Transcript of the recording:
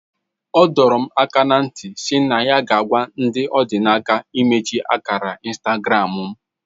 O dorom aka na nti SI na ya ga agwa ndi odinaka imechi akara Instagram mu